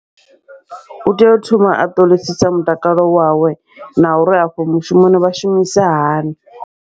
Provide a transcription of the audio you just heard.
Utea u thoma a ṱolisisa mutakalo wawe, na uri afho mushumoni vha shumisa hani.